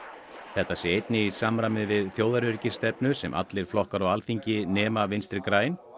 þetta sé einnig í samræmi við þjóðaröryggisstefnu sem allir flokkar á Alþingi nema Vinstri græn